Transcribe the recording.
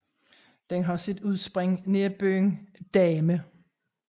Den har sit udspring nær byen Dahme